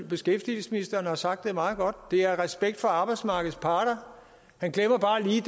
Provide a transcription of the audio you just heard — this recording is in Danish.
beskæftigelsesministeren har sagt det meget godt det er respekt for arbejdsmarkedets parter han glemmer bare lige